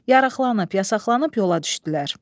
Yarağlanıb, yasaqlanıb yola düşdülər.